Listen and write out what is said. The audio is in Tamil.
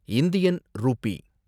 Indian Ruby